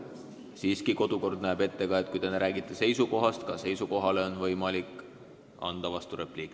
Siiski, kodukord näeb ette, et kui räägitakse seisukohast, ka siis on võimalik anda vasturepliik.